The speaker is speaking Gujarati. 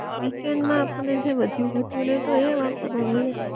વીકેન્ડ માં આપણ ને જે વધ્યું ઘટ્યું નેટ હોય એ વાપરવા મલે